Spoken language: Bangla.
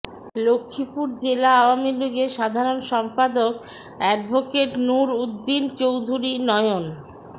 লক্ষীপুর জেলা আওয়ামী লীগের সাধারণ সম্পাদক অ্যাডভোকেট নুর উদ্দিন চৌধুরী নয়ন